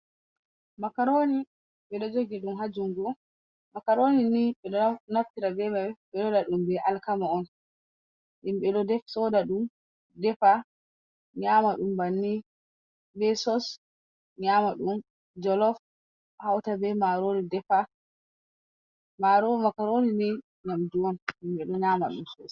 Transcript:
Makaroni, ɓe ɗo jogi ɗum ha jungu. Makaroni ni naftira be mai ɓe ɗo waɗa ɗum be alkama on, himɓe ɗo soda ɗum, defa nyama ɗum banni be sos, nyama ɗum jolof hauta be marori defa, makaroni ni nyamdu on himɓe ɗo nyama ɗum.